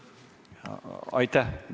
Aitäh!